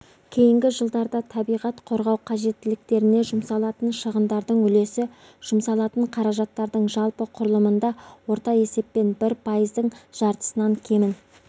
кейінгі жылдарда табиғат қорғау қажеттіліктеріне жұмсалатын шығындардың үлесі жұмсалатын қаражаттардың жалпы құрылымында орта есеппен бір пайыздың жартысынан кемін